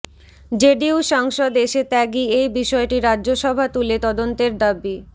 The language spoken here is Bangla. জেডিইউ সাংসদ এসে ত্যাগি এই বিষয়টি রাজ্যসভা তুলে তদন্তের দাবি